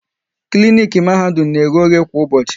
Klinik Mahadum na eghe oghe kwa ụbọchị